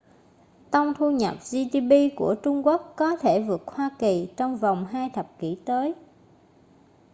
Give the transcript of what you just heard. tông thu nhập gdp của trung quốc có thể vượt hoa kỳ trong vòng hai thập kỷ tới